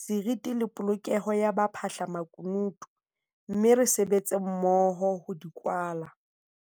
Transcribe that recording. seriti le polokeho ya baphahlamaku nutu - mme re sebetse mmoho ho di kwala.